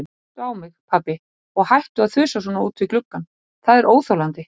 Líttu á mig, pabbi, og hættu að þusa svona út um gluggann, það er óþolandi.